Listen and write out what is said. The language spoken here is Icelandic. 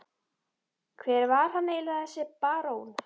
Hver var hann eiginlega, þessi barón?